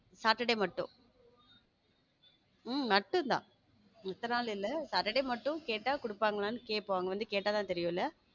Saturday மட்டும் உம் மட்டும் தான் மத்த நாள் இல்ல saturday மட்டும் கேட்டா குடுப்பாங்களா கேப்போம் அவங்க கேட்டாதா தெரியும்ல?